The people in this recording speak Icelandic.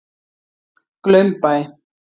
Glaumbæ